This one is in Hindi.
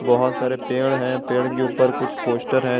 बहुत सारे पेड़ हैं पेड़ के ऊपर कुछ पोस्टर हैं।